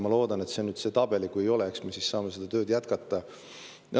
Ma loodan, et see on nüüd see tabel, ja kui ei ole, eks me saame seda tööd jätkata.